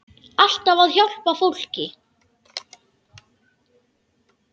Alltaf að hjálpa fólki.